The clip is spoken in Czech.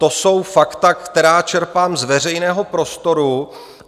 To jsou fakta, která čerpám z veřejného prostoru.